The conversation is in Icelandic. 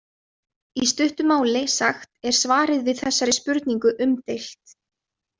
Í stuttu máli sagt er svarið við þessari spurningu umdeilt.